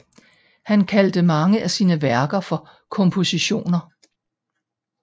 Han kaldte mange af sine værker for kompositioner